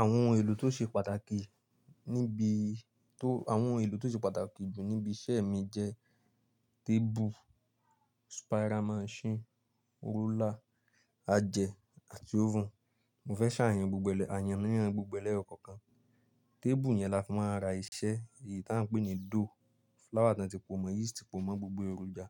Àwọn ohun èlò tó ṣe pàtàkì jù níbi iṣẹ́ mi jẹ́ tébù, spiral machine, roller, ajẹ̀ àti oven. Mo fẹ́ ṣàlàyé ní gbogbo ẹ̀ lẹ́yọkọ̀ọ̀kan. Tébù yẹn la fi máa ń ra iṣẹ́, èyí tí à ń pè ní dough, flour tí wọ́n ti pò mọ́, yeast pò mọ́, gbogbo èròjà.